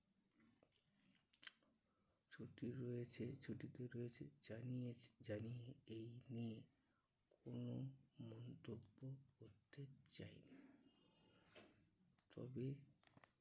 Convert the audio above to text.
ছুটি রয়েছে ছুটিতে রয়েছে যাইহোক এই নিয়ে কোনো মন্তব্য করতে চায়নি। তবে